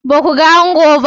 Ba ku ga ango ba?